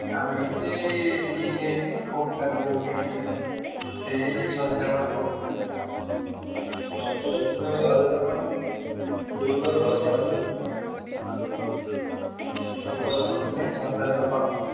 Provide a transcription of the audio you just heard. ଆମେ ସେଇ ଠିକ ହେଇନି କ ପିଲାତ କହୁଥିଲେ ଠିକ ସେଇ ଛଅ ସାତ ଜଣ ଭଳିଆ କହୁଥିଲେ ଛଅ ସାତ ଜଣ ଦଶ ଜଣ ହେଲେ ଛଅ ସାତ ଜଣ confirm ।